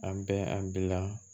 An bɛ an bila